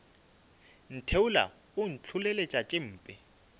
ntheola o ntlholeletša tše mpe